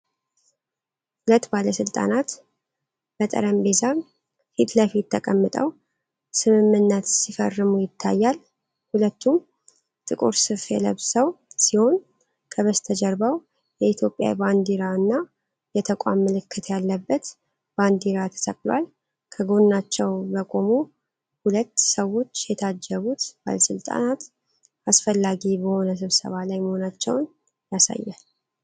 ሁለት ባለሥልጣናት በጠረጴዛ ፊት ለፊት ተቀምጠው ስምምነት ሲፈርሙ ይታያል። ሁለቱም ጥቁር ሱፍ የለብሰው ሲሆን፤ ከበስተጀርባው የኢትዮጵያ ባንዲራ እና የተቋም ምልክት ያለበት ባንዲራ ተሰቅሏል። ከጎናቸው በቆሙ ሁለት ሰዎች የታጀቡት ባለሥልጣናት አስፈላጊ በሆነ ስብሰባ ላይ መሆናቸውን ያሳያል።